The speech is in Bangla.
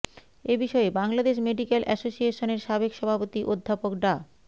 এ বিষয়ে বাংলাদেশ মেডিকেল অ্যাসোসিয়েশনের সাবেক সভাপতি অধ্যাপক ডা